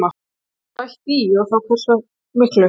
Verður bætt í og þá hversu miklu?